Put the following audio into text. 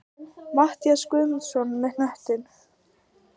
Matthías Guðmundsson með knöttinn.